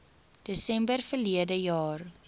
desember verlede jaar